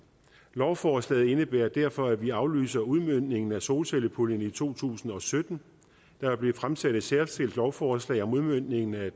lovforslaget indebærer derfor at vi aflyser udmøntningen af solcellepuljen i to tusind og sytten der vil blive fremsendt et særskilt lovforslag om udmøntningen af